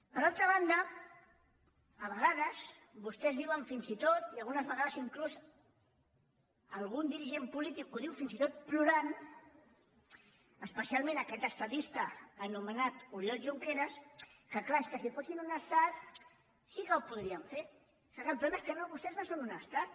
per altra banda a vegades vostès diuen fins i tot i a vegades inclús algun dirigent polític ho diu fins i tot plorant especialment aquest estadista anomenat ori·ol junqueras que clar que si fossin un estat sí que ho podrien fer que el problema és que vostès no són un estat